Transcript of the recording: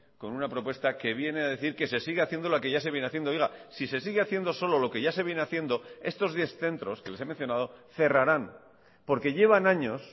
con una propuesta que viene a decir que se sigue haciendo lo que ya se viene haciendo oiga si se sigue haciendo solo lo que ya se viene haciendo estos diez centros que les he mencionado cerrarán porque llevan años